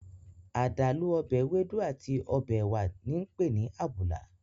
Adalu ọbẹ ewedu ati ọbẹ ẹwa ni ǹpe ni 'abula'